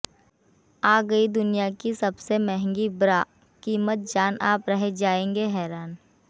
आ गयी दुनिया की सबसे महंगी ब्रा कीमत जान आप रह जायेंगे हैरान